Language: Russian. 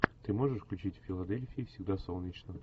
ты можешь включить в филадельфии всегда солнечно